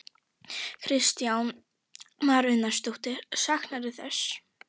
Kristján Már Unnarsson: Saknarðu þess?